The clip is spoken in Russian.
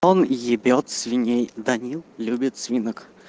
он ебёт свиней даниил любит свинок